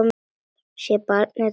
Sé barnið draga andann.